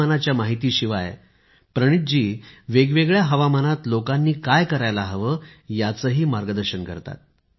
हवामानाच्या माहितीशिवाय प्रणीथजी वेगवेगळ्या हवामानात लोकांनी काय करायला हवे याचेही मार्गदर्शन करतात